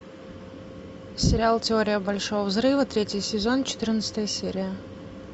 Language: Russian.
сериал теория большого взрыва третий сезон четырнадцатая серия